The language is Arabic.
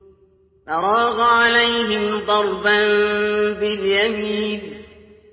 فَرَاغَ عَلَيْهِمْ ضَرْبًا بِالْيَمِينِ